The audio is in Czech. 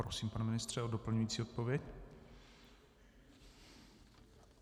Prosím, pane ministře, o doplňující odpověď.